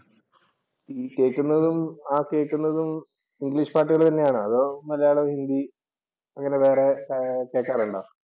ഈ കേക്കുന്നതും, ആ കേക്കുന്നതും ഇംഗ്ലീഷ് പാട്ടുകൾ തന്നെയാണോ അതോ മലയാളം ഹിന്ദി അങ്ങനെ വേറെ കേക്കാറുണ്ടോ?